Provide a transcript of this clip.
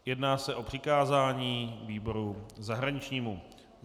Jedná se o přikázání výboru zahraničnímu.